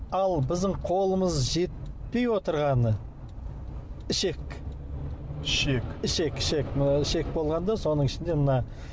ал біздің қолымыз жетпей отырғаны ішек ішек ішек ішек ішек болғанда соның ішінде мына